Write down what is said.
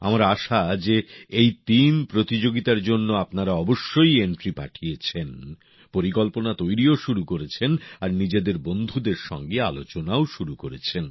আমার আশা যে এই তিন প্রতিযোগিতার জন্য আপনারা অবশ্যই নাম নথিভুক্ত করেছেন পরিকল্পনা তৈরিও শুরু করেছেন আর নিজেদের বন্ধুদের সঙ্গে আলোচনাও শুরু করেছেন